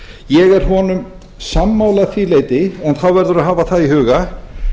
ég er honum sammála að því leyti en þá verður að hafa það í huga